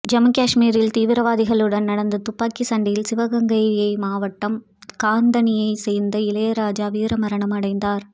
ஜம்மு காஷ்மீரில் தீவிரவாதிகளுடன் நடந்த துப்பாக்கிச் சண்டையில் சிவகங்கையை மாவட்டம் கந்தணியை சேர்ந்த இளையராஜா வீர மரணம் அடைந்தார்